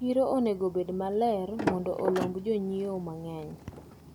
Chiro onego obed maler mondo olomb jonyiewo mang`eny.